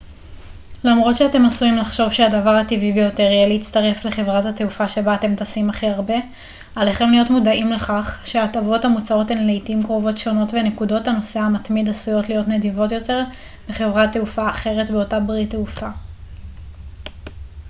למרות שאתם עשויים לחשוב שהדבר הטבעי ביותר יהיה להצטרף לחברת התעופה שבה אתם טסים הכי הרבה עליכם להיות מודעים לכך שההטבות המוצעות הן לעתים קרובות שונות ונקודות הנוסע המתמיד עשויות להיות נדיבות יותר בחברת תעופה אחרת באותה ברית תעופה